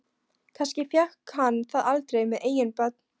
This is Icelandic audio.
Kannski fékk hann það aldrei með eigin börn.